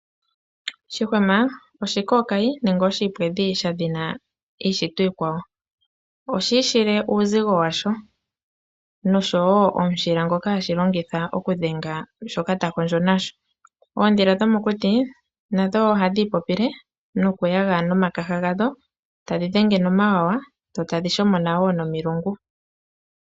Shihwama oshikokayi nenge oshi ipwedhi dha dhina iishitwa iikwawo. Oshi ishile uuzigo washo noshowo omushila ngoka hashi longitha okudhenga shoka ta kondjo nasho. Oodhila dho mokuti nadho ohadhi ipopile no ku yaga nomakaha gadho, tadhi dhenge nomawawa. Dho tadhi shomona wo nomilungu.